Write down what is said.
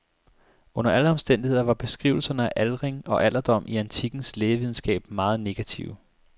Under alle omstændigheder var beskrivelserne af aldring og alderdom i antikkens lægevidenskab meget negative.